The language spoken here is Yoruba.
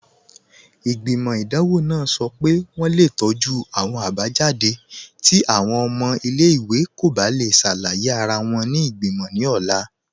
Igbimọ̀ idanwọ̀ nàà sọ́ pé wọǹ le tọju awọn abajadé̀ ti awọn ọ̀mọ̀ ilẹ̀-iwè kò bá le ṣàlàyé ara wọn ni igbimọ̀ ni ọ̀la